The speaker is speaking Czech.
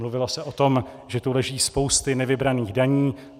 Mluvilo se o tom, že tu leží spousty nevybraných daní.